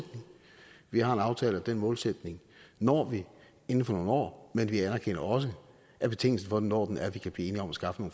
vi har en aftale om at den målsætning når vi inden for nogle år men vi anerkender også at betingelsen for når den er at vi kan blive enige om skaffe